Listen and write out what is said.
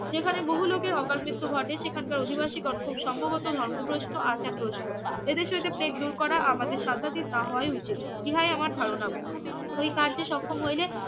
যেখানে বহু লোকের অকাল মৃত্যু ঘটে সেখানকার অধিবাসীগণ খুব সম্ভবত ধর্মগ্রস্থ আচারগ্রস্থ এদেশে হইতে প্লেগ দূর করা আমাদের সাধ্যাতিক না হওয়াই উচিত ইহাই আমার ধারণা ওই কার্যে সক্ষম হইলে